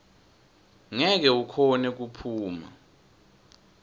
ngeke ukhone kuphuma